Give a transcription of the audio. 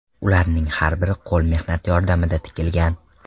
Ularning har biri qo‘l mehnati yordamida tikilgan.